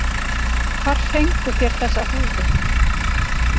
Hvar fenguð þér þessa húfu?